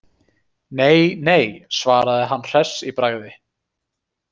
Nei, nei, svaraði hann hress í bragði.